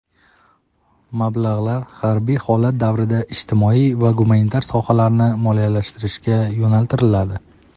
Mablag‘lar harbiy holat davrida ijtimoiy va gumanitar sohalarni moliyalashtirishga yo‘naltiriladi.